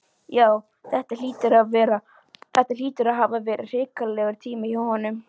Já, þetta hlýtur að hafa verið hrikalegur tími hjá honum.